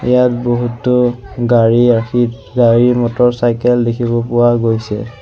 ইয়াত বহুতো গাড়ী ৰাখি মটৰচাইকেল দেখিব পোৱা গৈছে।